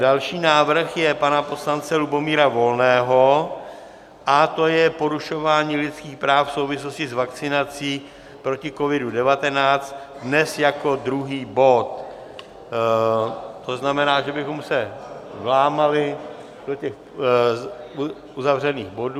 Další návrh je pana poslance Lubomíra Volného a to je porušování lidských práv v souvislosti s vakcinací proti COVID-19, dnes jako druhý bod, to znamená, že bychom se vlámali do těch uzavřených bodů.